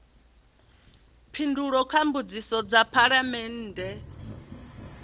phindulo kha mbudziso dza phalamennde